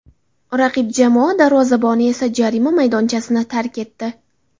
Raqib jamoa darvozaboni esa jarima maydonchasini tark etdi.